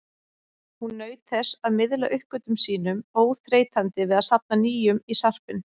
Hún naut þess að miðla uppgötvunum sínum, óþreytandi við að safna nýjum í sarpinn.